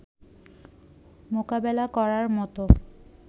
মোকাবেলা করার মতো